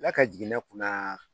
la ka jigin ne kunna